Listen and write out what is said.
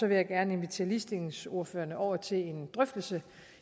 jeg gerne invitere ligestillingsordførerne over til en drøftelse